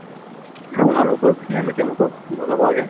ভাল প্ৰয়োগ খিনি আমি তেওঁলোকক বুজাব লাগে ।